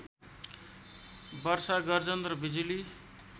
वर्षा गर्जन र बिजुली